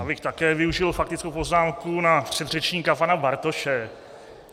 Já bych také využil faktickou poznámku na předřečníka pana Bartoše.